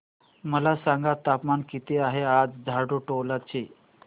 मला सांगा तापमान किती आहे आज झाडुटोला चे